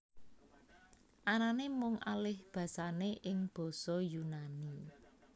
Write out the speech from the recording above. Anané mung alihbasané ing basa Yunani